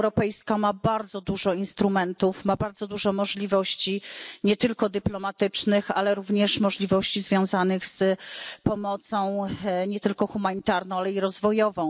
Unia Europejska ma bardzo dużo instrumentów, ma bardzo dużo możliwości, nie tylko dyplomatycznych, ale również możliwości związanych z pomocą nie tylko humanitarną, ale i rozwojową.